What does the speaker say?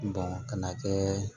ka na kɛ